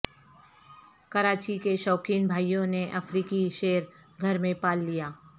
کراچی کے شوقین بھائیوں نے افریقی شیر گھر میں پال لیا